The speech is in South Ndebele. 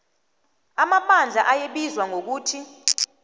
amabandla ayebizwa ngokuthi